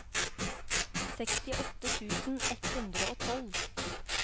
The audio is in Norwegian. sekstiåtte tusen ett hundre og tolv